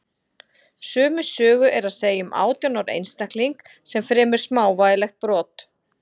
sömu sögu er að segja um átján ára einstakling sem fremur smávægilegt brot